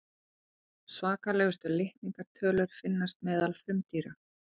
svakalegustu litningatölurnar finnast meðal frumdýra